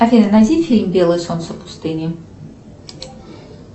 афина найди фильм белое солнце пустыни